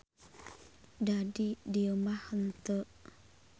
Da di dieu mah henteu.